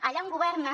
allà on governen